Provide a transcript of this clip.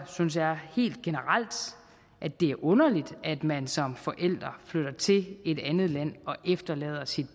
synes jeg helt generelt at det er underligt at man som forælder flytter til et andet land og efterlader sit